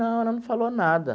Não, ela não falou nada.